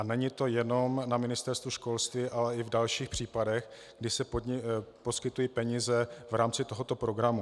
A není to jenom na Ministerstvu školství, ale i v dalších případech, kdy se poskytují peníze v rámci tohoto programu.